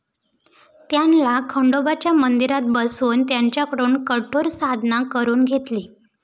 त्यांना खंडोबाच्या मंदिरात बसवून, त्यांच्याकडून कठोर साधना करवून घेतली.